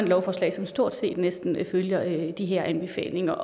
lovforslag som stort set følger de her anbefalinger